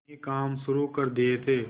कई काम शुरू कर दिए थे